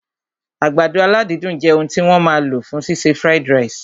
Àgbàdo aládídùn jẹ òun tí wọ́n máa lò fún ṣíṣe fried ìrẹsì